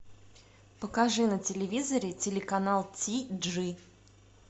покажи на телевизоре телеканал ти джи